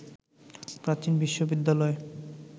প্রাচীন বিশ্ববিদ্যালয়